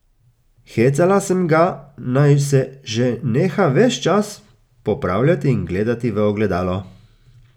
Hecala sem ga, naj se že neha ves čas popravljati in gledati v ogledalo.